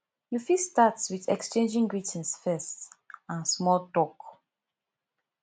you fit start with exchanging greetings first and small talk